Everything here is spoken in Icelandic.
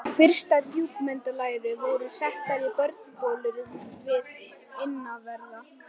Fyrstu djúpdælurnar voru settar í borholur við innanverðan